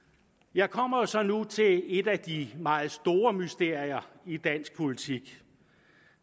jeg kommer så nu til et af de meget store mysterier i dansk politik